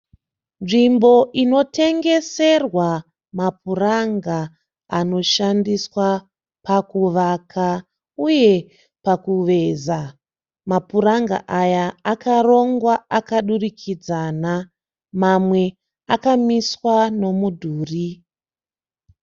Nzvimbo inotengeserwa mapuranga anoshandiswa pakuvaka uye pakuveza. Mapuranga aya akarongwa akadurikidzana. Mamwe akamiswa nomudhuri.